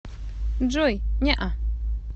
джой неа